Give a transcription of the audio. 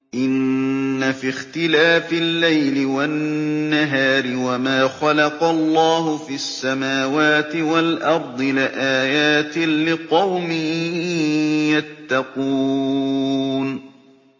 إِنَّ فِي اخْتِلَافِ اللَّيْلِ وَالنَّهَارِ وَمَا خَلَقَ اللَّهُ فِي السَّمَاوَاتِ وَالْأَرْضِ لَآيَاتٍ لِّقَوْمٍ يَتَّقُونَ